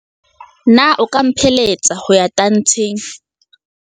Na o ka mphelehetsa ho ya tantsheng?